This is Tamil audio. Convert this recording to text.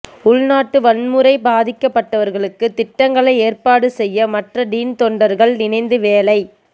உள்நாட்டு வன்முறை பாதிக்கப்பட்டவர்களுக்கு திட்டங்களை ஏற்பாடு செய்ய மற்ற டீன் தொண்டர்கள் இணைந்து வேலை